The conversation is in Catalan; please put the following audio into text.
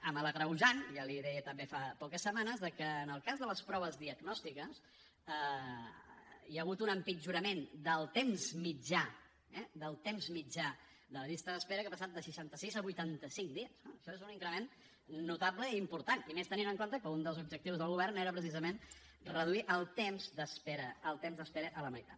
amb l’agreujant ja l’hi deia també fa poques setmanes que en el cas de les proves diagnòstiques hi ha hagut un empitjorament del temps mitjà del temps mitjà de la llista d’espera que ha passat de seixanta sis a vuitanta cinc dies no això és un increment notable i important i més tenint en compte que un dels objectius del govern era precisament reduir el temps d’espera el temps d’espera a la meitat